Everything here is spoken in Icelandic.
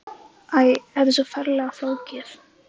Æ, þetta er svo ferlega flókið.